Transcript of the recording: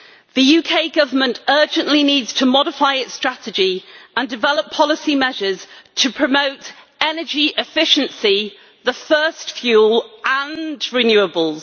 The UK Government urgently needs to modify its strategy and develop policy measures to promote energy efficiency the first fuel and renewables.